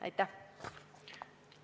Aitäh!